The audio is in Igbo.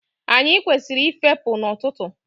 Anyị kwesịrị ị fepụ n'ọtụtụ.